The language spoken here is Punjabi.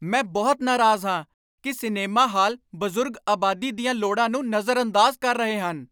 ਮੈਂ ਬਹੁਤ ਨਾਰਾਜ਼ ਹਾਂ ਕਿ ਸਿਨੇਮਾ ਹਾਲ ਬਜ਼ੁਰਗ ਆਬਾਦੀ ਦੀਆਂ ਲੋੜਾਂ ਨੂੰ ਨਜ਼ਰਅੰਦਾਜ਼ ਕਰ ਰਹੇ ਹਨ।